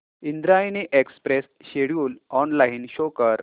Indrayani express schedule online show कर